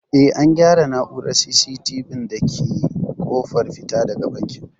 Eh an gyara na'urar C.CT.V ɗin da ke ƙofar fita daga bankin